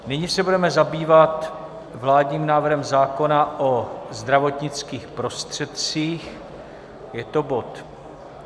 Nyní se budeme zabývat vládním návrhem zákona o zdravotnických prostředcích, je to bod